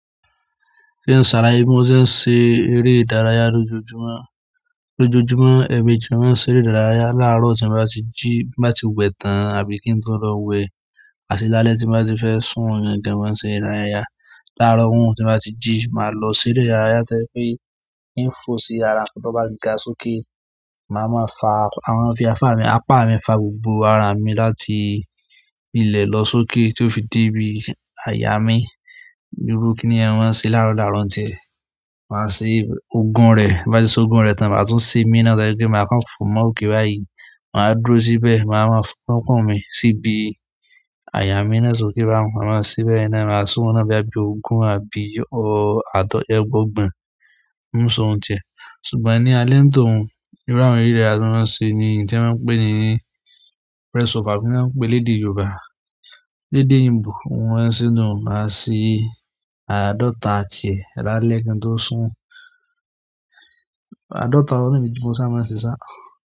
Kí n ṣàlàyé bí mo ṣe ń ṣe eré ìdárayá lójoojúmọ́? Lójoojúmọ́, ẹ̀ẹ̀méjì n mo máa ń ṣeré ìdárayá. Láàárọ̀ tí n bá ti jí, tí n bá ti wẹ̀ tán àbí kí n tó lọ wẹ̀, àti lálẹ́ tí n bá ti fẹ́ sùn, ni n dẹ̀ máa ń ṣe ìdárayá. Láàárọ̀ once tí n bá ti jí, máa lọ ṣeré ìdárayá tó jẹ́ pé hín fò sí ara nǹkan tó bá ga sókè. Màá máa fa, màá máa fi apá mi, apá mi fà gbogbo ara mi láti ilẹ̀ lọ sókè tí ó fi dé ibi àyà mí. Irú kiní yẹn, mo máa ń ṣeé láàárọ̀-láàárọ̀ ń tiẹ̀. Màá ṣe ogún rẹ̀, tí n bá ti ṣe ogún rẹ̀ tán, màá tún ṣè míì náà tó jẹ́ pé màá kàn fò mọ́ òkè báyìí. Màá wá dúró síbẹ̀, màá máa fa orúnkún mi síbi àyà sókè báun. Màá lọ síbẹ̀ ina, màá sùn ọ̀nà bí ẹbí òògùn àbí ọ àádọ́ta ẹgbọ̀ọ́gbọ̀n. N sùn ọ̀tí rẹ̀. Ṣùgbọ́n ní alẹ́ ń tòun, irú àwọn eré ìdárayá tó máa ń ṣe ni èyí tí wọ́n máa ń pè ní press up, àbí kí l'ọ́n ń pèé lédè Yorùbá. Lédè òyìnbó. Bí mo ṣe máa ń ṣeé nùu. Màá ṣe àádọ́ta tiẹ̀ lálẹ́ kí n tó sùn. Àádọ́ta ni irú èyí ti mo ṣáà máa ń ṣe ṣáá.